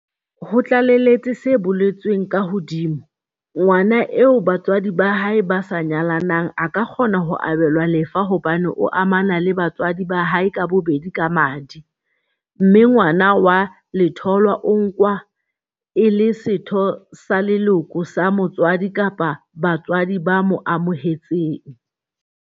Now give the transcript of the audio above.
Ho tlaleletse se boletsweng ka hodima, ngwana eo ba tswadi ba hae ba sa nyalanang a ka kgona ho abelwa lefa hobane o amana le batswadi ba hae ka bobedi ka madi, mme ngwana wa letholwa o nkwa e le setho sa leloko sa motswadi kapa batswadi ba mo amohetseng.